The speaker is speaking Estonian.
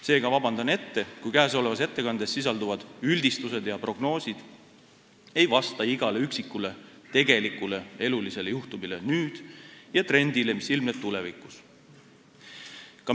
Seega, palun juba ette vabandust, kui mu ettekandes sisalduvad üldistused ja prognoosid ei vasta igale üksikule tegelikule elulisele juhtumile praegu ega trendile, mis ilmneb tulevikus.